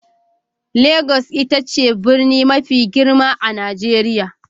Legas ita ce birni mafi girma a Najeriya.